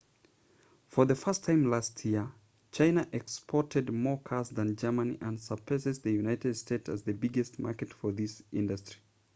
for the first time last year china exported more cars than germany and surpassed the united states as the biggest market for this industry